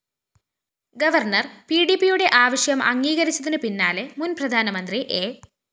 governor പിഡിപിയുടെ ആവശ്യം അംഗീകരിച്ചതിനു പിന്നാലെ മുന്‍ പ്രധാനമന്ത്രി എ